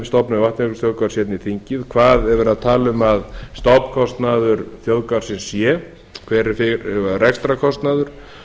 stofnun vatnajökulsþjóðgarðs hérna í þingið hvað er verið að tala um að stofnkostnaður þjóðgarðsins sé hver er rekstrarkostnaður